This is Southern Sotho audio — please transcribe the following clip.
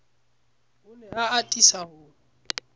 o ne a atisa ho